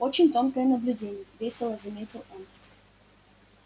очень тонкое наблюдение весело заметил он